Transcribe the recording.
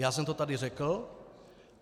Já jsem to tady řekl.